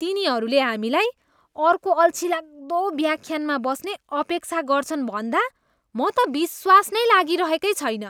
तिनीहरूले हामीलाई अर्को अल्छिलाग्दो व्याख्यानमा बस्ने अपेक्षा गर्छन् भन्दा म त विश्वास नै लागिरहेकै छैन।